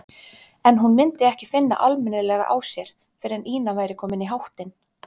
En hún myndi ekki finna almennilega á sér fyrr en Ína væri komin í háttinn.